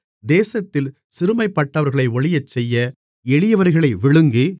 தேசத்தில் சிறுமைப்பட்டவர்களை ஒழியச்செய்ய எளியவர்களை விழுங்கி